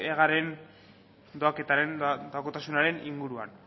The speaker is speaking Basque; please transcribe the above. egaren doakotasunaren inguruan